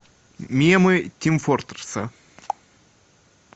мемы тим фортресса